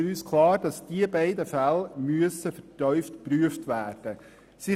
Für uns ist klar, dass diese beiden Fälle vertieft geprüft werden müssen.